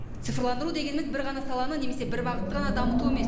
цифрландыру дегеніміз бір ғана саланы немесе бір бағытты ғана дамыту емес